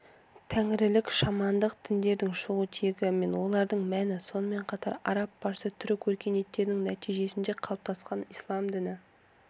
тәңірілік шамандық діндердің шығу тегі мен олардың мәні сонымен қатар араб-парсы-түрік өркениеттерінің нәтижесінде қалыптасқан ислам діні